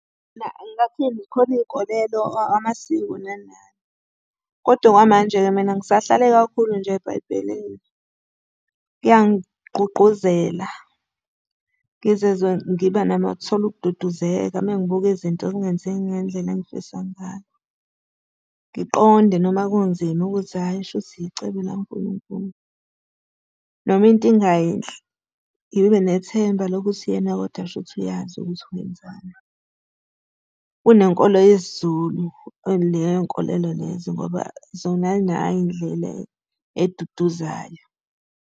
Mina ngingathini, khona iy'nkolelo, amasiko nani nani. Kodwa okwamanje-ke mina ngisahlale kakhulu nje eBhayibhelini. Kuyangigqugquzela, ngizizwe ngiba nami nokuthola ukududuzeka uma ngibuka izinto zingenzeki ngendlela engifisa ngayo. Ngiqonde noma kunzima ukuthi hhayi shuthi icebo la Nkulunkulu. Noma into ingayinhle, ngibe benethemba lokuthi yena kodwa shuthi uyazi ukuthi wenzani. Kunenkolo yesiZulu, leyo nkolelo lezo ngoba zona ay'nayo indlela eduduzayo.